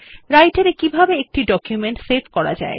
Writer এ কিভাবে একটি ডকুমেন্ট সেভ করা যায়